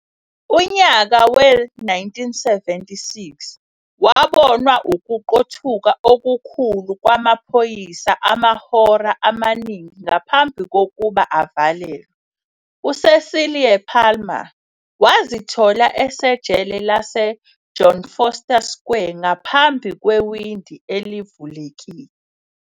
Unyaka we-1976 kwabonwa ukuqothuka okukhulu kwamaphoyisa, amahora amaningi ngaphambi kokuba avalelwe, uCecilie Palmer wazithola esejele laseJohn Vorster Square ngaphambi kwewindi elivulekile.